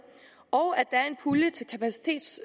og